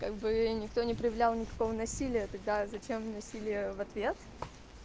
как бы никто не проявлял никакого насилия тогда зачем вносили в ответ